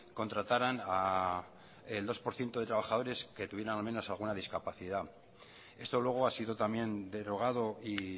contrataran el dos por ciento de trabajadores que tuvieran al menos alguna discapacidad esto luego ha sido también derogado y